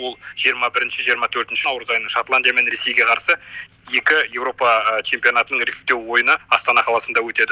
ол жиырма бірінші жиырма төртінші наурыз айында шотландия мен ресейге қарсы екі еуропа чемпионатының іріктеу ойыны астана қаласында өтеді